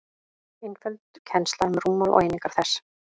einföld kennsla um rúmmál og einingar þess